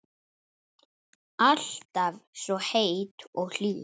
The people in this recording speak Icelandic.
Alltaf svo heit og hlý.